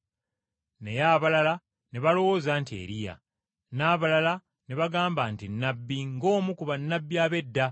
Naye abalala ne balowooza nti, “Eriya.” N’abalala ne bagamba nti, “Nnabbi ng’omu ku bannabbi ab’edda.”